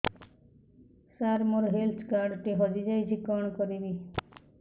ସାର ମୋର health card ଟି ହଜି ଯାଇଛି କଣ କରିବି